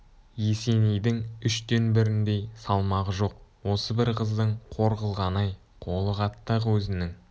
есенейдің үштен біріндей салмағы жоқ осы бір қыздың қор қылғаны-ай қолы қатты-ақ өзінің